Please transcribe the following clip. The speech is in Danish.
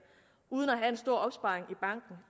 uden at have en stor opsparing i banken